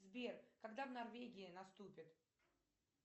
сбер когда в норвегии наступит